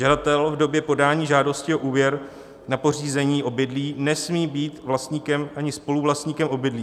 Žadatel v době podání žádosti o úvěr na pořízení obydlí nesmí být vlastníkem ani spoluvlastníkem obydlí.